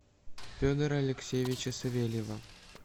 федора алексеевича савельева